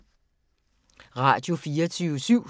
Radio24syv